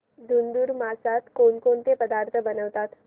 धुंधुर मासात कोणकोणते पदार्थ बनवतात